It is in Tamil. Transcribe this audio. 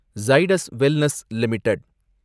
Zydus wellness limited